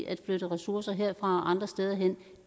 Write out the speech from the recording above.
at flytte ressourcer herfra og andre steder hen